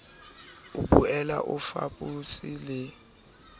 o boele o fapose le